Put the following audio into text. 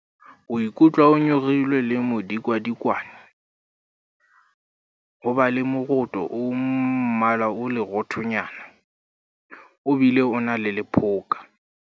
Ho ikutlwa o nyorilwe le modikadikwane. Ho ba le moroto o mmala o leroothonyana, o bile o na le lephoka.